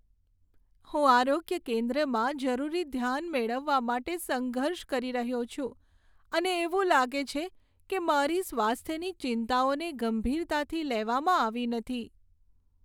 હું આરોગ્ય કેન્દ્રમાં જરૂરી ધ્યાન મેળવવા માટે સંઘર્ષ કરી રહ્યો છું, અને એવું લાગે છે કે મારી સ્વાસ્થ્યની ચિંતાઓને ગંભીરતાથી લેવામાં આવી નથી.